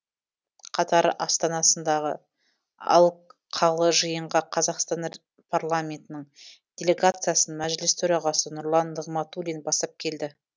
қатар астанасындағы алқалы жиынға қазақстан парламентінің делегациясын мәжіліс төрағасы нұрлан нығматулин бастап келді